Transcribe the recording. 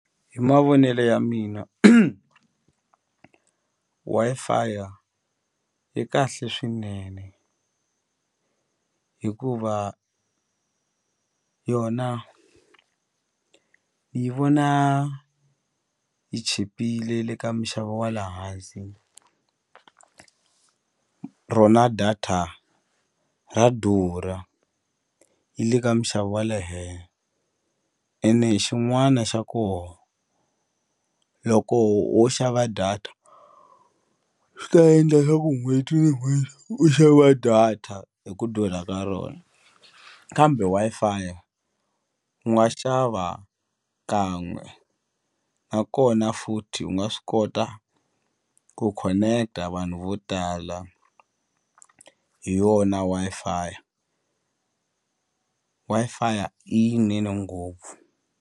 Hi mavonelo ya mina Wi-Fi yi kahle swinene hikuva yona yi vona yi chipile le ka minxavo wa le hansi rona data ra durha yi le ka minxavo wa ene xin'wana xa ko loko ho xava data swi ta endla swa ku n'hweti ni n'hweti u xava data hi ku durha ka rona kambe Wi-Fi u nga xava kan'we u nakona futhi u nga swi kota ku connect-a vanhu vo tala hi yona Wi-Fi Wi-Fi i yinene ngopfu.